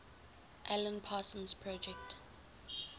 alan parsons project